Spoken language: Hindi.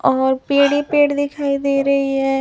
और पेड़ ही पेड़ दिखाई दे रही है।